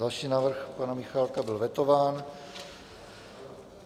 Další návrh pana Michálka byl vetován.